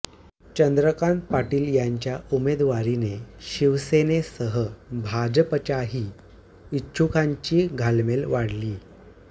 चंद्रकांत पाटील यांच्या उमेदवारीने शिवसेनेसह भाजपच्याही इच्छुकांची घालमेल वाढलीय